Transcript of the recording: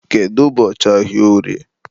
kedu ụbọchị bụ ahịa orie?